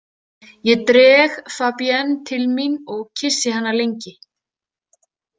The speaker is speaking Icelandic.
Ég dreg Fabienne til mín og kyssi hana lengi.